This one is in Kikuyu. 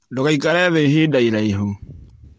Ndũgaikare thĩ ihinda iraihu